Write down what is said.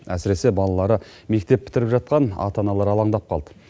әсіресе балалары мектеп бітіріп жатқан ата аналар алаңдап қалды